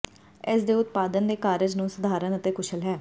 ਇਸ ਦੇ ਉਤਪਾਦਨ ਦੇ ਕਾਰਜ ਨੂੰ ਸਧਾਰਨ ਅਤੇ ਕੁਸ਼ਲ ਹੈ